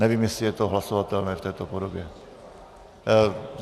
Nevím, jestli je to hlasovatelné v této podobě.